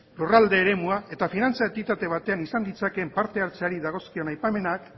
lurralde eremua eta finantza entitate batean izan ditzakeen parte hartzeari dagozkion aipamenak